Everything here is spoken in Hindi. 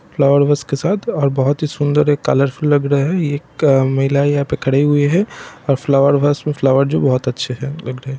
फ्लावर वैस के साथ अ और बहोत ही सुंदर एक कलरफुल लग रहे है एक महिला यहां पर खड़े हुए है और फ्लावर वस मे फ्लावर जो बोहोत अच्छे है लग रहे है।